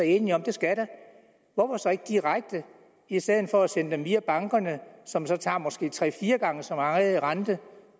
enige om at der skal hvorfor så ikke direkte i stedet for at sende dem via bankerne som så tager måske tager tre fire gange så meget i rente